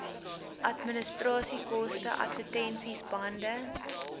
administrasiekoste advertensies bande